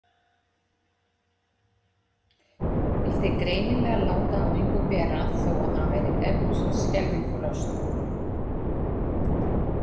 Vildi greinilega láta á engu bera þó að hann væri eflaust skelfingu lostinn.